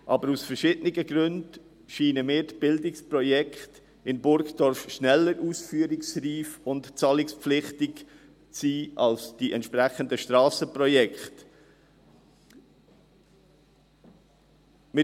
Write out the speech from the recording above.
Aber aus verschiedenen Gründen scheinen mir die Bildungsprojekte in Burgdorf schneller ausführungsreif und zahlungspflichtig zu sein als die entsprechenden Strassenprojekte.